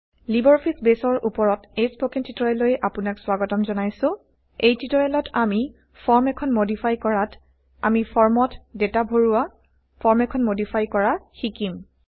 Libre Office বেছৰ উপৰত এই স্পকেন টিউটৰিয়েললৈ আপোনাক স্বাগতম জনাইছোঁ এই টিউটৰিয়েলত আমি ফৰ্ম এখন160 মডিফাই কৰাত আমি ফৰ্মত160ডেটা ভৰোৱা ফৰ্ম এখন160মডিফাই কৰা শিকিম